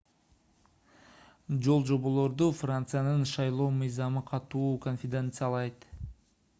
жолжоболорду франциянын шайлоо мыйзамы катуу кодификациялайт